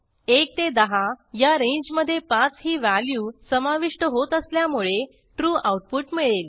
1 ते 10 या रेंजमधे 5 ही व्हॅल्यू समाविष्ट होत असल्यामुळे trueआऊटपुट मिळेल